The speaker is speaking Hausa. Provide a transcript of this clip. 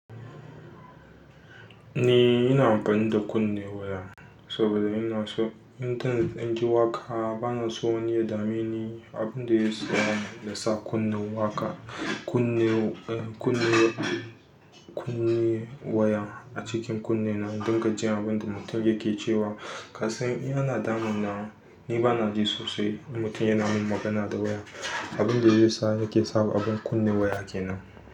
Ni ina amfani da kunne waya saboda ina so in tani ɗan ji waƙa bana so wani ya dame ni abin da ya sa kuma na sa kunne waƙa. Kunne, kunne, kunne waya a cikin kunne na don ka ji abin da mutum yake cewa. Kasan in ana damuna, ni bana ji sosai, in mutum yana min magana dta waya abin da zai sa nake sa abun kunne waya kenan.